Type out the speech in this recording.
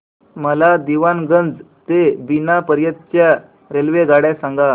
मला दीवाणगंज ते बिना पर्यंत च्या रेल्वेगाड्या सांगा